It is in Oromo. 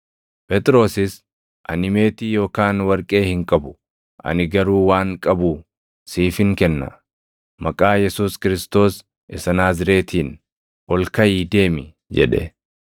Phexrosis, “Ani meetii yookaan warqee hin qabu; ani garuu waan qabu siifin kenna. Maqaa Yesuus Kiristoos isa Naazreetiin ol kaʼii deemi!” jedhe.